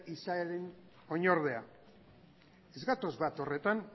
izaeren oinordea ez gatoz bat horretan